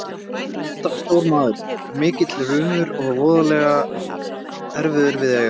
En þetta var stór maður, mikill rumur og voðalega erfiður við að eiga.